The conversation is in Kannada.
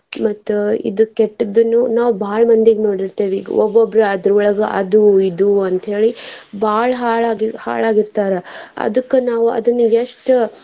ಮತ್ತ್ ಇದ್ ಕೆಟ್ಟದನ್ನು ನಾವ್ ಬಾಳ ಮಂದಿಗ್ ನೋಡಿರ್ತೇವಿ ಒಬ್ಬೊಬ್ಬ್ರ ಅದರೊಳಗ ಅದು ಇದು ಅಂತ ಹೇಳಿ ಬಾಳ ಹಾಳ್ ಆಗಿ ಹಾಳ್ ಆಗಿರ್ತಾರ ಅದಕ್ಕ ನಾವ್ ಅದನ್ನ ಎಷ್ಟ್.